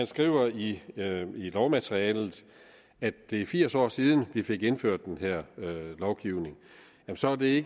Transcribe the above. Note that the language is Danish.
skriver i lovmaterialet at det er firs år siden vi fik indført den her lovgivning så er det